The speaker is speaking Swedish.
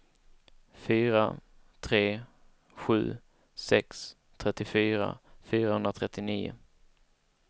fyra tre sju sex trettiofyra fyrahundratrettionio